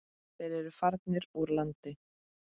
Þeir eru farnir úr landi.